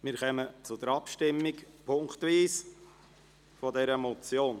Wir kommen zur punktweisen Abstimmung über diese Motion.